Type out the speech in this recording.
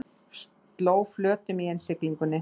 Sló flötum í innsiglingunni